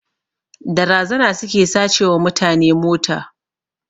Da razana suke sace wa mutane mota